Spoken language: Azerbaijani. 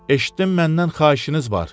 Eşitdim məndən xahişiniz var.